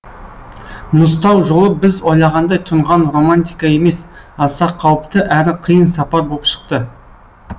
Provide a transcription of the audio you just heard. мұзтау жолы біз ойлағандай тұнған романтика емес аса қауіпті әрі қиын сапар боп шықты